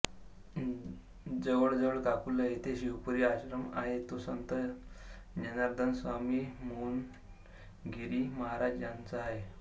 जवळच काकूला येथे शिवपुरी आश्रम आहे तो संत जनार्दनस्वामी मौनगिरी महराज यांचा आहे